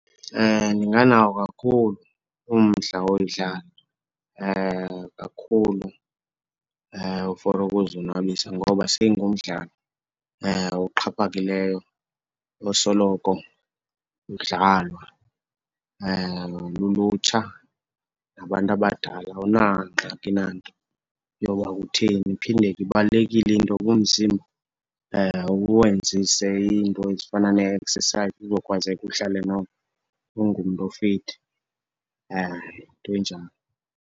Ndinganawo kakhulu umdla woyidlala kakhulu for ukuzonwabisa, ngoba seyingumdlalo oxhaphakileyo osoloko udlalwa lulutsha nabantu abadala, awunangxaki nanto yoba utheni. Iphinde ke ibalulekile into yoba umzimba, uwenzise iinto ezifana ne-exercise uzokwenzeka uhlale noko ungumntu ofithi. Yinto enjalo.